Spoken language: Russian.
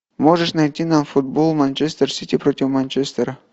можешь найти нам футбол манчестер сити против манчестера